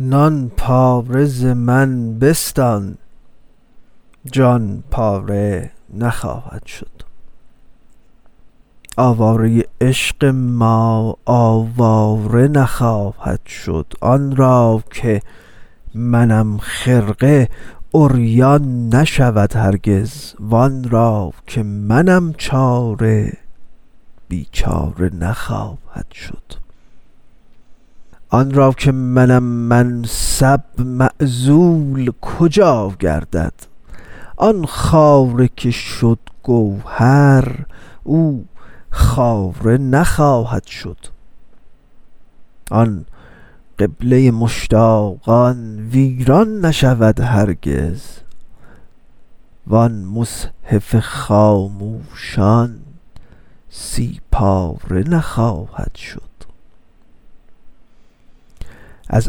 نان پاره ز من بستان جان پاره نخواهد شد آواره عشق ما آواره نخواهد شد آن را که منم خرقه عریان نشود هرگز وان را که منم چاره بیچاره نخواهد شد آن را که منم منصب معزول کجا گردد آن خاره که شد گوهر او خاره نخواهد شد آن قبله مشتاقان ویران نشود هرگز وان مصحف خاموشان سی پاره نخواهد شد از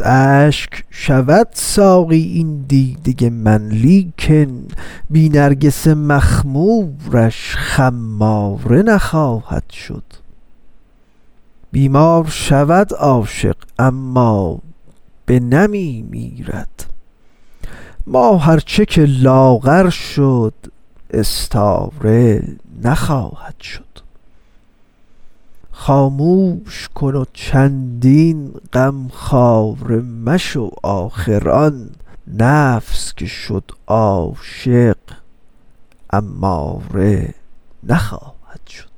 اشک شود ساقی این دیده من لیکن بی نرگس مخمورش خماره نخواهد شد بیمار شود عاشق اما بنمی میرد ماه ار چه که لاغر شد استاره نخواهد شد خاموش کن و چندین غمخواره مشو آخر آن نفس که شد عاشق اماره نخواهد شد